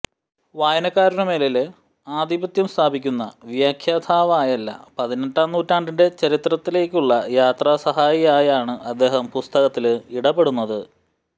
വായനക്കാരനുമേല് ആധിപത്യം സ്ഥാപിക്കുന്ന വ്യാഖ്യാതാവായല്ല പതിനെട്ടാം നൂറ്റാണ്ടിന്റെ ചരിത്രത്തിലേക്കുള്ള യാത്രാസഹായിയായാണ് അദ്ദേഹം പുസ്തകത്തില് ഇടപെടുന്നത്